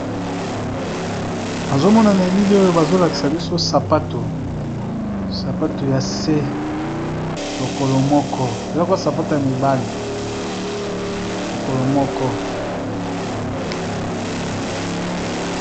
Bazomona na elile oyo bazolakisa biso sapatu sapatu ya ce lokolo mooezakwa sapato ya mibale lokolo moko.